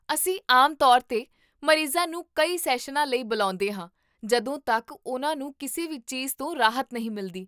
ਅਸੀਂ ਆਮ ਤੌਰ 'ਤੇ ਮਰੀਜ਼ਾਂ ਨੂੰ ਕਈ ਸੈਸ਼ਨਾਂ ਲਈ ਬੁਲਾਉਂਦੇ ਹਾਂ ਜਦੋਂ ਤੱਕ ਉਨ੍ਹਾਂ ਨੂੰ ਕਿਸੇ ਵੀ ਚੀਜ਼ਤੋਂ ਰਾਹਤ ਨਹੀਂ ਮਿਲਦੀ